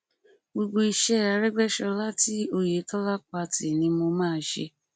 gbogbo iṣẹ arégbèsọlá tí ọyẹtọlá pa tì ni mo máa ṣe